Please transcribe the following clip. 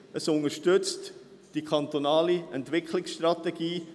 Erstens: Es unterstützt die kantonale Entwicklungsstrategie.